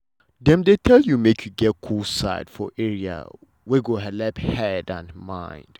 dem dey tell you make you get cool side for area wey go helep head and mind.